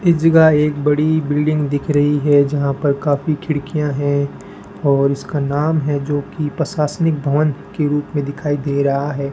इस जगह एक बड़ी बिल्डिंग दिख रही है जहाँ पर काफी खिड़कियां हैं और इसका नाम है जोकी पसासनिक भवन के रुप में दिखाई दे रहा है।